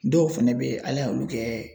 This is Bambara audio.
Dɔw fɛnɛ be ye Ala ye olu kɛ